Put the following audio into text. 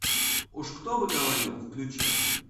уж кто бы говорил включай